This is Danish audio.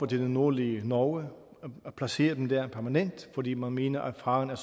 det nordlige norge og placere dem der permanent fordi man mener at faren